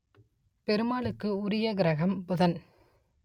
பெருமாளுக்கு உரிய கிரகம் புதன்